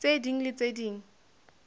tse ding le tse ding